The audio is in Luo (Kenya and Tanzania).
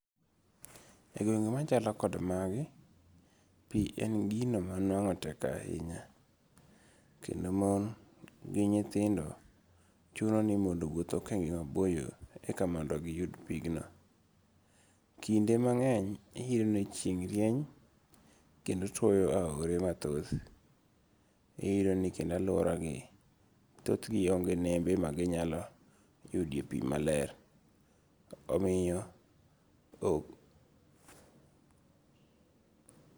E gwenge' machalo kog magi, pi en gino ma nwango' tek ahinya, kendo mon gi nyithindo chunoni mondo wuothi okenge maboyo eka mondo giyud pigno. Kinde mange'ny iyudo ni chieng' rieny kendo twoyo aore mathoth, iyudo ni kendo aluorani thothgi onge nembe maginyalo yudoe e pi maler omiyo